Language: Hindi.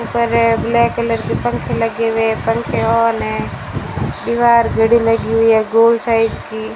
यहां पर ब्लैक कलर के पंखे लगे हुए हैं पंखे ऑन हैं दीवार घड़ी लगी हुई है गोल साइज की --